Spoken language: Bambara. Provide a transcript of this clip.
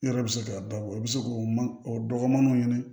Yɔrɔ bɛ se k'a dabɔ i bɛ se k'o o dɔgɔninw ɲini